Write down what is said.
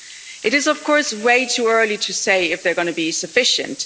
It is, of course, way too early to say if they're going to be sufficient